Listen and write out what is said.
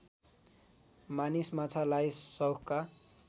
मानिस माछालाई सौखका